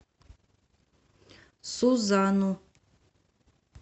сузану